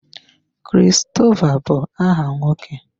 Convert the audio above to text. Christopher bu aha nwoke.